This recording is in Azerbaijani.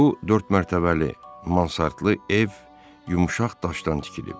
Bu dörd mərtəbəli, mansardlı ev yumşaq daşdan tikilib.